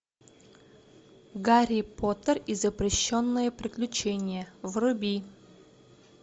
гарри поттер и запрещенные приключения вруби